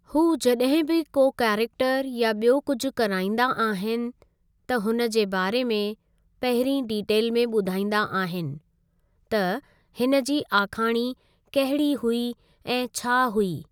हू जॾहिं बि को कैरेक्टर या बि॒यो कुझु कराईंदा आहिनि त हुन जे बारे में पहिरीं डिटेल में ॿुधाईंदा आहिनि त हिन जी आखाणी कहिड़ी हुई ऐं छा हुई।